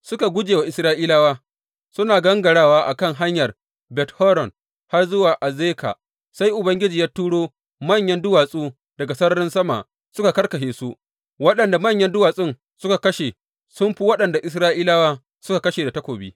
Suna guje wa Isra’ilawa suna gangarawa a kan hanyar Bet Horon har zuwa Azeka, sai Ubangiji ya turo manyan duwatsu daga sararin sama suka karkashe su, waɗanda manyan duwatsun suka kashe sun fi waɗanda Isra’ilawa suka kashe da takobi.